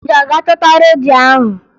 Ị ga-aga chọta redio ahụ!